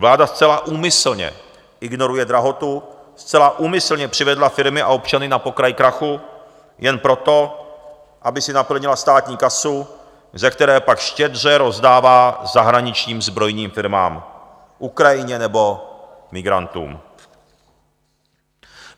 Vláda zcela úmyslně ignoruje drahotu, zcela úmyslně přivedla firmy a občany na pokraj krachu jen proto, aby si naplnila státní kasu, ze které pak štědře rozdává zahraničním zbrojním firmám, Ukrajině nebo migrantům.